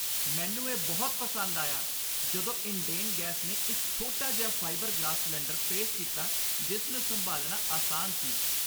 ਮੈਨੂੰ ਇਹ ਬਹੁਤ ਪਸੰਦ ਆਇਆ ਜਦੋਂ ਇੰਡੇਨ ਗੈਸ ਨੇ ਇੱਕ ਛੋਟਾ ਫਾਈਬਰ ਗਲਾਸ ਸਿਲੰਡਰ ਪੇਸ਼ ਕੀਤਾ ਜਿਸ ਨੂੰ ਸੰਭਾਲਣਾ ਆਸਾਨ ਸੀ।